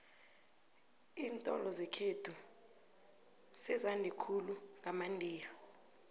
iintolo zekhethu sezande khulu ngamandiya